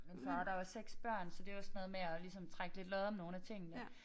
Min far der var 6 børn så det var sådan noget med at ligesom trække lidt lod om nogle af tingene